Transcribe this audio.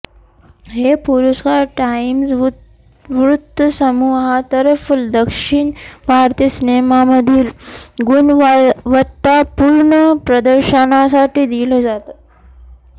हे पुरस्कार टाइम्स वृत्तसमूहातर्फे दक्षिण भारतीय सिनेमामधील गुणवत्तापूर्ण प्रदर्शनासाठी दिले जातात